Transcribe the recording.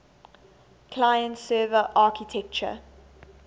client server architecture